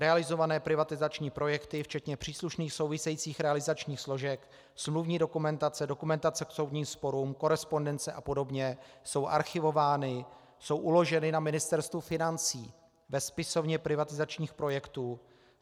Realizované privatizační projekty včetně příslušných souvisejících realizačních složek, smluvní dokumentace, dokumentace k soudním sporům, korespondence a podobně jsou archivovány, jsou uloženy na Ministerstvu financí ve spisovně privatizačních projektů.